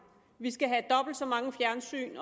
skal have dobbelt så mange fjernsyn